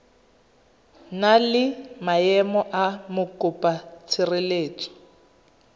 na le maemo a mokopatshireletso